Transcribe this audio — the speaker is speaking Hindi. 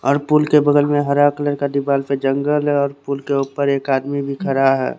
और पुल के बगल में हरा कलर का दीवाल पे जंगल है और पुल के ऊपर एक आदमी भी खड़ा हैं।